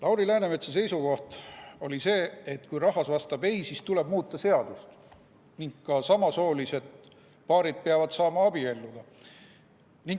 Lauri Läänemetsa seisukoht oli see, et kui rahvas vastab ei, siis tuleb muuta seadust ning ka samasoolised paarid peavad saama abielluda.